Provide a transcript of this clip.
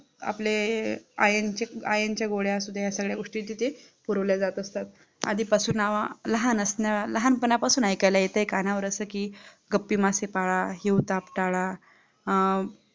आपले iron iron च्या गोळ्या असू द्या, सगळ्या गोष्टी तिथे पुरवल्या जात असतात आधीपासून नावा लहान असणार लहानपणापासून ऐकायला येतं कानावर असं की गप्पी मासे पाला, हिवताप ताला